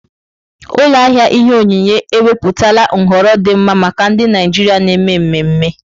Ụlọ ahịa ihe onyinye ewepụtala nhọrọ dị mma maka ndị Naijiria na-eme mmemme.